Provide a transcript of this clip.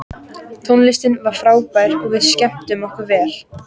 Tónlistin var frábær og við skemmtum okkur vel.